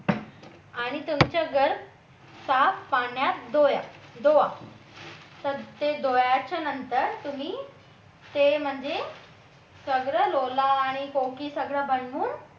आणि तुमचं घर साफ पाण्यात धुवा तर ते नंतर तुम्ही ते म्हणजे सगळं आणि सगळं बनवून